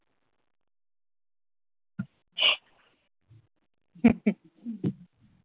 হম হম